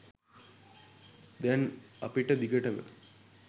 දැන් අපිට දිගටම